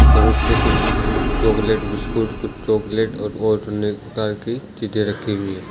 और उस पे कुछ चॉकलेट बिस्कुट कुछ चॉकलेट और अनेक प्रकार की चीज़े रखी हुई है।